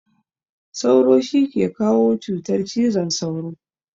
Sauro shi ke kawo cutar cizon sauro.